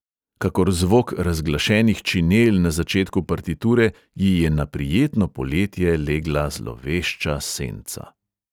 Kakor zvok razglašenih činel na začetku partiture ji je na prijetno poletje legla zlovešča senca.